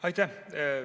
Aitäh!